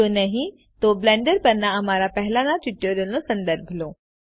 જો નહીં તો બ્લેન્ડર પરના અમારા પહેલાંના ટ્યુટોરિયલ્સનો સંદર્ભ લો